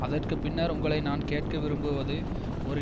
அதற்கு பின்னர் உங்களை நான் கேட்கவிரும்புவது ஒரு